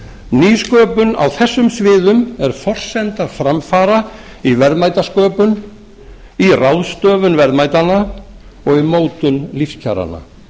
nýsköpun á þessum sviðum er forsenda framfara í verðmætasköpun í ráðstöfun verðmætanna og í mótun lífskjaranna nú